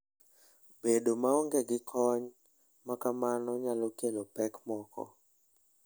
Bedo maonge gi kony ma kamano nyalo kelo pek moko.